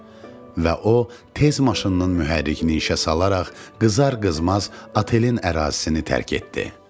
Və o, tez maşının mühərrikini işə salaraq, qızar-qızmaz otelin ərazisini tərk etdi.